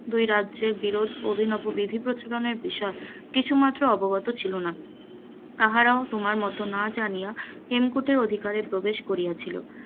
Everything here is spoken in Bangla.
দুই রাজ্যের বিরোধ এবং অভিনব বিধি প্রচলনের বিষয়ে কিছুমাত্র অবগত ছিল না, তাহারাও তোমার মত না জানিয়া হেমকুটের অধিকারে প্রবেশ করিয়াছিল,